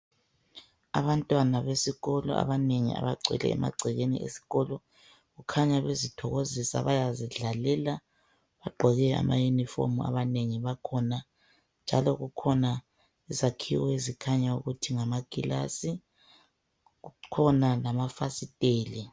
Abantwana besikolo abanengi abagcwele emagcekeni esikolo .Kukhanya bezithokozisa bayazidlalela ,bagqoke amayunifomu abanengi bakhona. Njalo kukhona izakhiwo ezikhanya ukuthi ngamakilasi kukhona lamafasiteli.